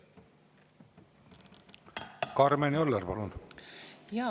Karmen Joller, palun!